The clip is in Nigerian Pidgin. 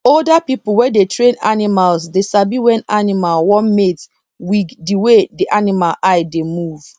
older people wey dey train animals dey sabi when animal wan mate wig di wey di animal eye dey move